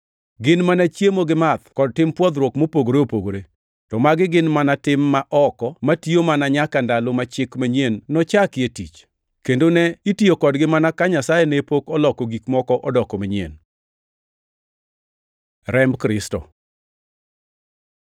Gin mana chiemo gi math kod tim pwothruok mopogore opogore, to magi gin mana tim ma oko matiyo mana nyaka ndalo ma chik manyien nochakie tich, kendo ne itiyo kodgi mana ka Nyasaye ne pok oloko gik moko odoko manyien. Remb Kristo